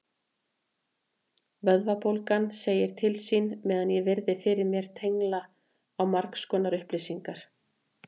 Vöðvabólgan segir til sín meðan ég virði fyrir mér tengla á margskonar upplýsingar.